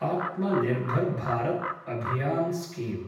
आत्मा निर्भर् भारत् अभियान् स्कीम